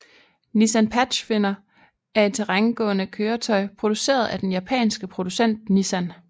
Nissan Pathfinder er et terrængående køretøj produceret af den japanske producent Nissan